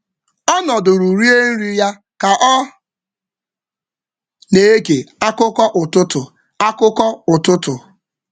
Ọ nọdụrụ rie nri ya ka ọ na-ege akụkọ ụtụtụ.